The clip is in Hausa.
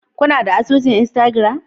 Kuna da asusun Instagram?